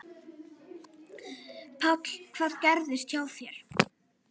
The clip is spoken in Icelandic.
Páll: Hvað gerðist hjá þér?